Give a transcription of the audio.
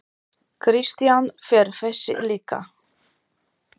Kristján: Fer þessi líka?